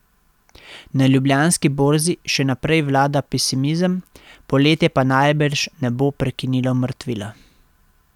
Na Ljubljanski borzi še naprej vlada pesimizem, poletje pa najbrž ne bo prekinilo mrtvila.